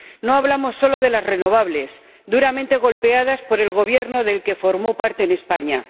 No hablamos solo de las renovables, duramente golpeadas por el Gobierno del que formó parte en España.